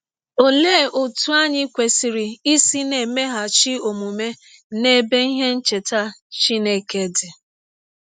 Ọlee ọtụ anyị kwesịrị isi na - emeghachi ọmụme n’ebe ihe ncheta Chineke dị?